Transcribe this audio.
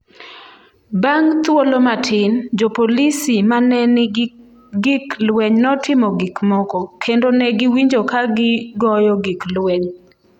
Bang’ thuolo matin, jopolisi ma ne nigi gik lweny notimo gik moko, kendo ne giwinjo ka gigoyo gik lweny.